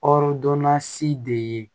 de ye